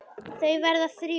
Þau verða þrjú.